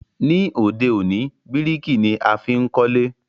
Ní òde òní, bíríkì ni a fi n kólé